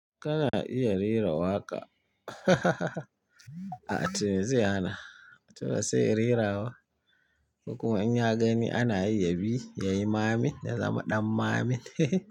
Kana iya rera waƙa? A'a to me zai hana, to ba sai in rera ba. Ko kuma in gani ana yi yabi yayi mamin ya zama ɗan mamin.